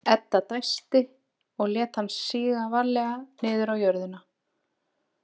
Edda dæsti og lét hann síga varlega niður á jörðina.